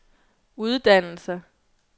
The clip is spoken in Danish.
uddannelser